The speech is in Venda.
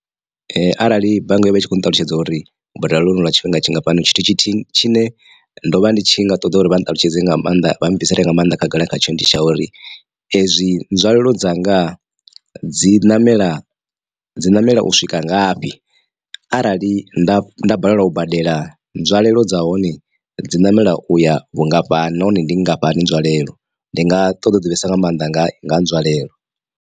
Arali bannga yo vha i tshi khou nṱalutshedza uri u badela lwonolu lwa tshifhinga tshingafhani tshithu tshithihi tshine ndo vha ndi tshi nga ṱoḓa uri vha nṱalutshedze nga maanḓa vha bvisele nga mannḓa khagala khatsho ndi tsha uri ezwi nzwalelo dzanga dzi ṋamela dzi ṋamela u swika ngafhi arali nda nda balelwa u badela nzwalelo dza hone dzi ṋamela uya vhungafhani nahone ndi nngafhani nzwalelo ndi nga ṱoḓa u divhesa nga maanḓa nga nga nzwalelo.